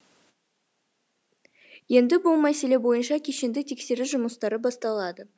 енді бұл мәселе бойынша кешенді тексеріс жұмыстары басталады